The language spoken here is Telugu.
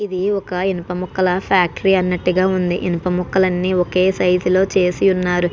ఇది ఒక ఇనుపముకల్ల ఫ్యాక్టరీ అన్నట్టు గా ఉంది ఇనుపు ముక్కలు అన్ని ఒకే సైజు లో చేసి ఉన్నారు.